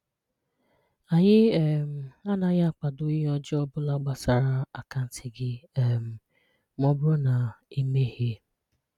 Anyị um anaghị akwado ihe ọjọọ obula gbasara akaanti gị um ma ọ bụrụ na I mehiee